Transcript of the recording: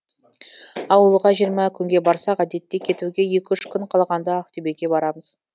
ауылға жиырма күнге барсақ әдетте кетуге екі үш күн қалғанда ақтөбеге барамыз